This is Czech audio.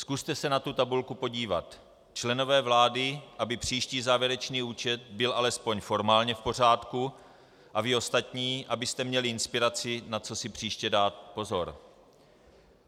Zkuste se na tu tabulku podívat, členové vlády, aby příští závěrečný účet byl alespoň formálně v pořádku, a vy ostatní, abyste měli inspiraci, na co si příště dát pozor.